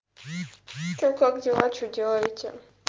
что как дела что делаете